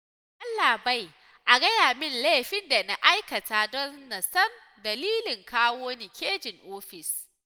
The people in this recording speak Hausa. Yallaɓai a gaya min laifin da na aikata don na san dalilin kawo ni caji ofis